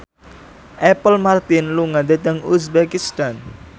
Apple Martin lunga dhateng uzbekistan